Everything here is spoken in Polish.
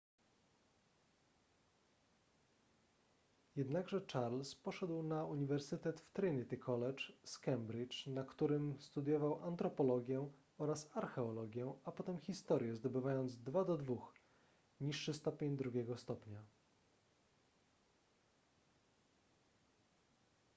jednakże charles poszedł na uniwersytet w trinity college z cambridge na którym studiował antropologię oraz archeologię a potem historię zdobywając 2:2 niższy stopień drugiego stopnia